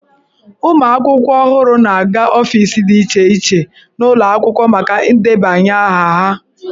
Ụmụ akwụkwọ ọhụrụ na-aga ọfiisi dị iche iche n'ụlọ akwụkwọ maka ndebanye aha ha.